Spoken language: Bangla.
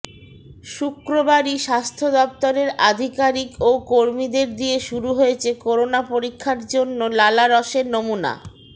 শুক্রবারই স্বাস্থ্য দফতরের আধিকারিক ও কর্মীদের দিয়ে শুরু হয়েছে করোনা পরীক্ষার জন্য লালারসের নমুনা